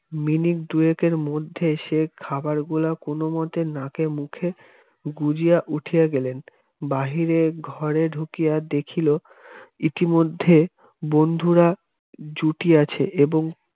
minute দুইকের মধ্যে সে খাবারগুলো কোনমতে নাকে মুখে গুঁজিয়া উঠিয়া গেলেন বাহিরের ঘরে ঢুকিয়া দেখিল ইতিমধ্যে বন্ধুরা জুটিয়াছে এবং